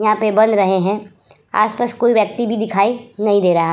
यहाँ पे बन रहे हैं। आस-पास कोई व्यक्ति भी दिखाई नहीं दे रहा।